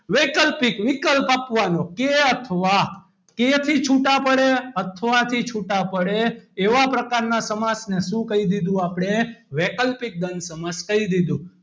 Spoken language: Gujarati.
વૈકલ્પિક વિકલ્પ આપવાનો કે અથવા કે થી છૂટા પડે અથવા થી છૂટા પડે એવા પ્રકારના સમાસને શું કહી દીધું આપણે વૈકલ્પિક દ્વંદ સમાસ કહી દીધું.